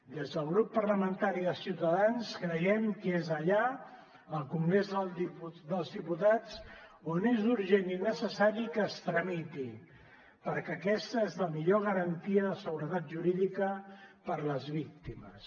des del grup parlamentari de ciutadans creiem que és allà al congrés dels diputats on és urgent i necessari que es tramiti perquè aquesta és la millor garantia de seguretat jurídica per a les víctimes